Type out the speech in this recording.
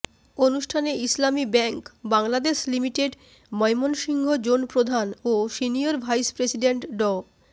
অনুষ্ঠানে Islami bank Bangladesh limited Mymensingh zone প্রধান ও সিনিয়র ভাইস প্রেসিডেন্ট ড